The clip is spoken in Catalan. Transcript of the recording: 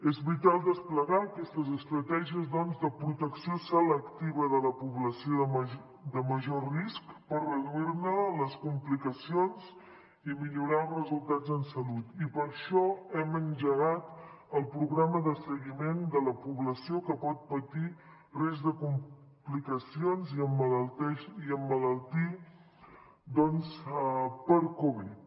és vital desplegar aquestes estratègies doncs de protecció selectiva de la població de major risc per reduir ne les complicacions i millorar resultats en salut i per això hem engegat el programa de seguiment de la població que pot patir risc de complicacions i emmalaltir per covid